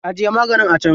Ajiye maganin a can.